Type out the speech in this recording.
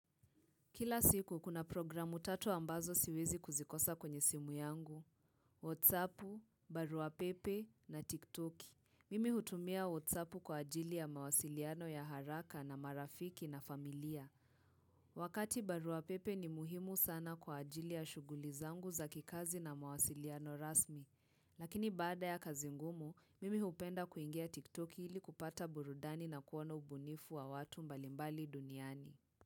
Kila siku kuna programu tatu ambazo siwezi kuzikosa kwenye simu yangu. WhatsApp, barua pepe na TikTok. Mimi hutumia WhatsAppu kwa ajili ya mawasiliano ya haraka na marafiki na familia. Wakati barua pepe ni muhimu sana kwa ajili ya shughuli zangu za kikazi na mawasiliano rasmi. Lakini baada ya kazi ngumu, mimi hupenda kuingia TikTok ili kupata burudani na kuona ubunifu wa watu mbalimbali duniani.